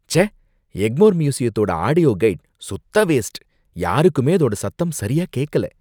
ச்சே! எக்மோர் மியூசியத்தோட audio guide சுத்த வேஸ்ட், யாருக்குமே அதோட சத்தம் சரியா கேக்கல